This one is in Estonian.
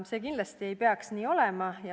See ei peaks kindlasti nii olema.